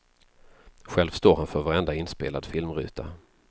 Själv står han för varenda inspelad filmruta.